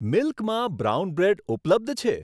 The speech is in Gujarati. મિલ્ક મા બ્રાઉન બ્રેડ ઉપલબ્ધ છે?